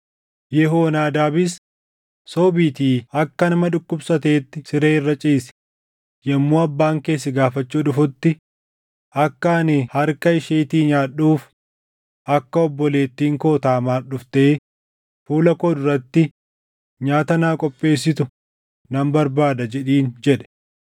Yehoonaadaabis, “Sobiitii akka nama dhukkubsateetti siree irra ciisi; yommuu abbaan kee si gaafachuu dhufutti, ‘Akka ani harka isheetii nyaadhuuf akka obboleettiin koo Taamaar dhuftee fuula koo duratti nyaata naa qopheessitu nan barbaada’ jedhiin” jedhe.